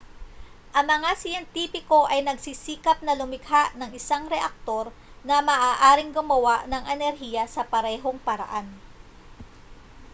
ang mga siyentipiko ay nagsisikap na lumikha ng isang reaktor na maaaring gumawa ng enerhiya sa parehong paraan